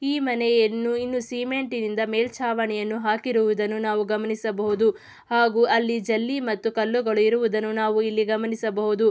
ಈ ಮನೆಯನ್ನು ಇನ್ನು ಸಿಮೆಂಟಿನಿಂದ ಮೇಲ್ಚಾವಣೆಯನ್ನು ಹಾಕಿರುವುದನ್ನು ನಾವು ಗಮನಿಸಬಹುದು. ಹಾಗು ಅಲ್ಲಿ ಜಲ್ಲಿ ಮತ್ತು ಕಲ್ಲುಗಳು ಇರುವುದನ್ನು ನಾವು ಇಲ್ಲಿ ಗಮನಿಸಬಹುದು.